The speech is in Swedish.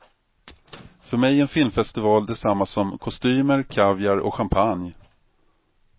För mig är en filmfestival detsamma som kostymer, kaviar och champagne.